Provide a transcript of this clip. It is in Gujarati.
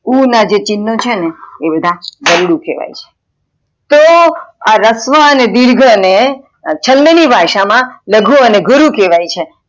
ઉ ના ચિન્હો છેને એ બધા વરડુ કેવાય છે, તો રસ્વ અને દિર્ઘ ને છંદ ની ભાષા માં લઘુ અને ગુરુ કેવાય છે